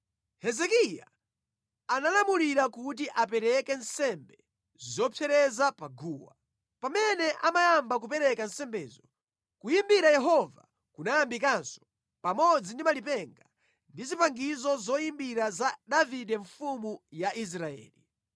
Hezekiya analamulira kuti apereke nsembe zopsereza pa guwa. Pamene amayamba kupereka nsembezo, kuyimbira Yehova kunayambikanso, pamodzi ndi malipenga ndi zipangizo zoyimbira za Davide mfumu ya Israeli.